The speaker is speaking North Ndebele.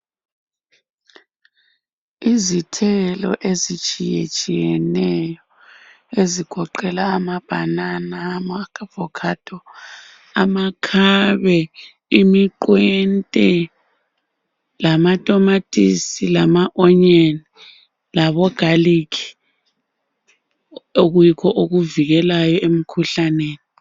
Izithelo ezitshiyatshiyeneyo ezigoqela amabanana , ama avocado , amakhabe , imiqwente lamatamatisi lama onion labogarlic okuyikho okuvikelayo emkhuhlaneni